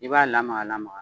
I b'a lamaga lamaga